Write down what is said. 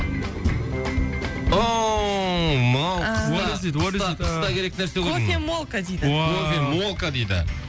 ооо мынау қыста қыста қыста керек нәрсе ғой кофемолка дейді уау кофемолка дейді